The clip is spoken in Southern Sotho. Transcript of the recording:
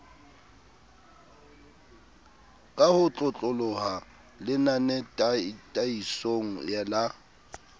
ka ho otloloha lenanetataisong la